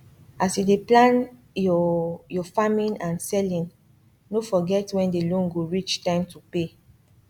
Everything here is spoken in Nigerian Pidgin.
as you dey plan your your farming and selling no forget when the loan go reach time to pay